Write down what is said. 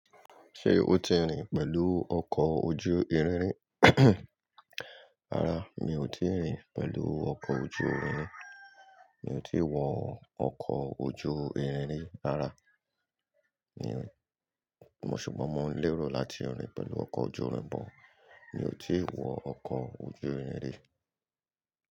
Ṣé o ti rìn pẹ̀lú ọkọ̀ ojú irin rín? Rárá, mi ò tíì rìn pẹ̀lú ọkọ̀ ojú irin rín. Mi ò tí ì wọ ọkọ̀ ojú irin rí rárá. Ni, mo ṣùgbọ́n mo ń lérò láti rìn pẹ̀lú ọkọ̀ ojú irin, but mi ò tí ì wọ ọkọ̀ ojú irin rí.